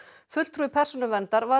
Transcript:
fulltrúi Persónuverndar var